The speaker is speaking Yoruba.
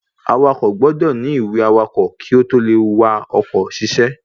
Awakọ̀ gbọ́dọ̀ ní ìwé awakọ̀ kí ó tó le wa oko ṣiṣẹ́